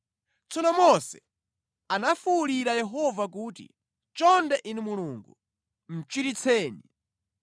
Tsono Mose anafuwulira Yehova kuti, “Chonde Inu Mulungu, muchiritseni!”